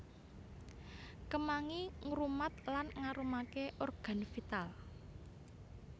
Kemangi ngrumat lan ngarumaké organ vital